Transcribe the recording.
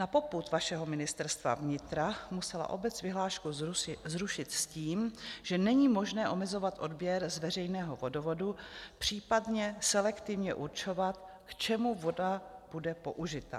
Na popud vašeho Ministerstva vnitra musela obec vyhlášku zrušit s tím, že není možné omezovat odběr z veřejného vodovodu, případně selektivně určovat, k čemu voda bude použita.